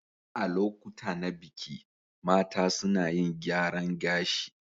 A lokuta na biki, mata suna yin gyaran gashi.